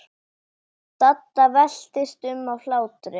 Dadda veltist um af hlátri.